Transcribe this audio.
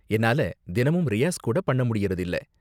என்னால தினமும் ரியாஸ் கூட பண்ணமுடியுறது இல்ல.